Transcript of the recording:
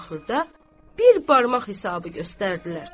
Axırda bir barmaq hesabı göstərdilər.